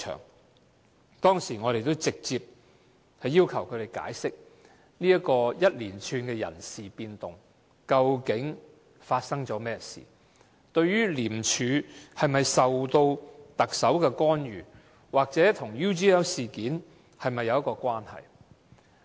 我們當時直接要求他們解釋這一連串人事變動，究竟發生了甚麼事情？廉署是否受到特首干預，或人事變動跟 UGL 事件有否關係？